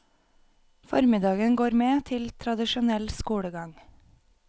Formiddagen går med til tradisjonell skolegang.